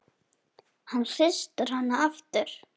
Hann hristir hana aftur.